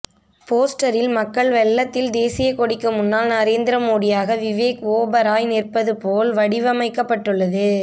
போஸ்டரில் மக்கள் வெள்ளத்தில் தேசிய கொடிக்கு முன்னால் நரேந்திர மோடியாக விவேக் ஓபராய் நிற்பது போல் வடிவமைக்கப்பட்டுள்ளது